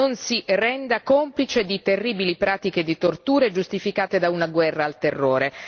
Non si renda complice di terribili pratiche di torture giustificate da una guerra al terrore.